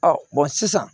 sisan